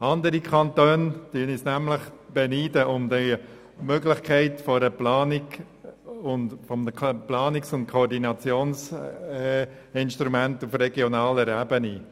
Andere Kantone beneiden uns um die Möglichkeit dieses Planungs- und Koordinationsinstruments auf regionaler Ebene.